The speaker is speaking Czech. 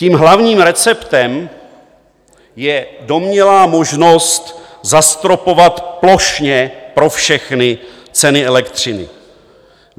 Tím hlavním receptem je domnělá možnost zastropovat plošně pro všechny ceny elektřiny.